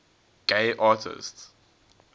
gay artists